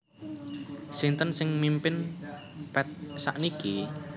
Sinten sing mimpin Path sakniki?